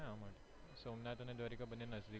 સોમનાથ અને દ્વારકા બંને નજદીક માં જ છે.